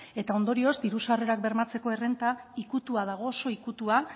eta ondorioz diru sarrerak bermatzeko errenta ikutua dago oso ikutua